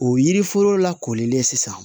O yiri foro la kolilen sisan